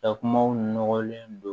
Ka kumaw nɔgɔlen don